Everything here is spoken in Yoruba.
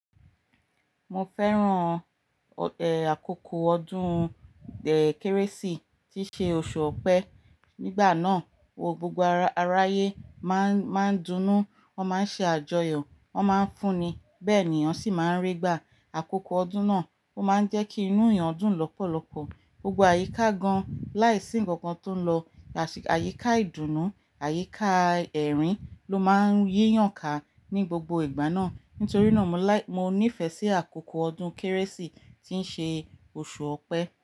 Mo fẹ́ràn, àkókò ọdún, eeh, Kérésìmesì tí ṣe oṣù Ọpẹ. Nígbà náà, o, gbogbo aráayé máa ń, máa ń dunnú, wọ́n máa ń ṣe àjọyọ̀, wọ́n máa ń fúnni, bẹ́ẹ̀ ni èèyàn máa ń rí gbà. Àkókò ọdún náà ó máa ń jẹ́ kí inú èèyàn dùn lọ́pọ̀lọpọ̀. Gbogbo àyíká gan-an láìsí nǹkan tó lọ, àṣ-- àyíká ìdùnnú, àyíká ẹ̀rín ló máa ń yèyàn ká ní gbogbo ìgbà náà. Nítorí náà mo láì-- mo nífẹ̀ẹ́ sí àkókò ọdún Kérésìmesì tí ń ṣe oṣù Ọpẹ.